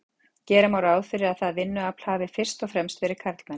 gera má ráð fyrir að það vinnuafl hafi fyrst og fremst verið karlmenn